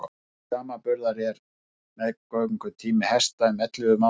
til samanburðar er meðgöngutími hesta um ellefu mánuðir